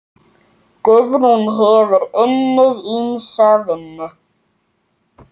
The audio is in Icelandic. Guðrún hefur unnið ýmsa vinnu.